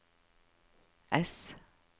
ess